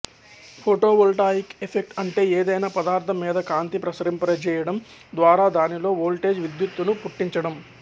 photovoltaic effect అంటే ఏదైనా పదార్థం మీద కాంతి ప్రసరింపజేయడం ద్వారా దానిలో వోల్టేజ్ విద్యుత్తును పుట్టించడం